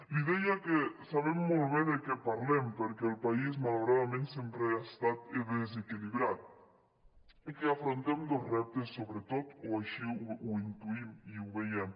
li deia que sabem molt bé de què parlem perquè el país malauradament sempre ha estat desequilibrat i que afrontem dos reptes sobretot o així ho intuïm i ho veiem